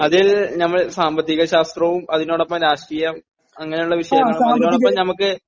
അതായത് നമ്മളുടെ സാമ്പത്തിക ശാസ്ത്രവും അത് കഴിഞ്ഞിട്ട് രാഷ്ട്രീയമ അങ്ങനെയുള്ള വിഷയങ്ങൾ...അതോടൊപ്പം നമുക്ക്...